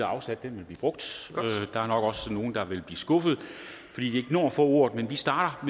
afsat vil blive brugt der er nok også nogle der vil blive skuffet fordi de ikke når at få ordet men vi starter